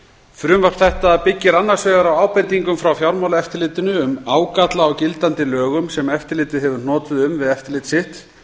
frumvarp þetta byggir annars vegar á ábendingum frá fjármálaeftirlitinu um ágalla á gildandi lögum sem eftirlitið hefur hnotið um við eftirlit sitt